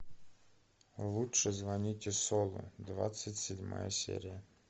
лучше звоните солу двадцать седьмая серия